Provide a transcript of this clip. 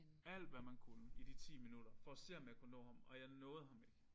Alt hvad man kunne i de 10 minutter for at se om jeg kunne nå ham og jeg nåede ham ikke